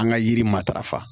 An ka yiri matarafa